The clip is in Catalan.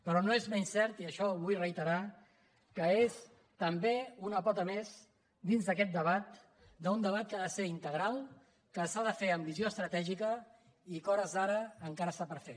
però no és menys cert i això ho vull reiterar que és també una pota més dins d’aquest debat d’un debat que ha de ser integral que s’ha de fer amb visió estratègica i que a hores d’ara encara està per fer